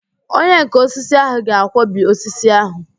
Onyenká osisi ahụ ga-akwọbi osisi ahụ